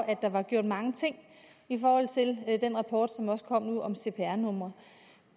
at der var gjort mange ting i forhold til er den rapport som også kom nu om cpr numre